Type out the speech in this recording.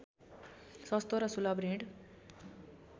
सस्तो र सुलभ ऋण